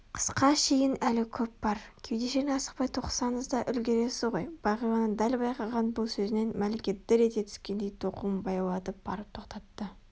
Қысқа шейін әлі көп бар кеудешені асықпай тоқысаңыз да үлгересіз ғой бағиланың дәл байқаған бұл сөзінен мәлике дір ете түскендей тоқуын баяулатып барып тоқтатты